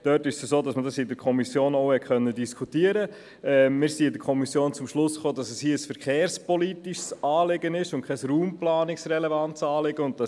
Wir haben diese Planungserklärung in der Kommission diskutiert, und die Kommission kam zum Schluss, dass es sich hier um ein verkehrspolitisches und nicht um ein raumplanungsrelevantes Anliegen handelt.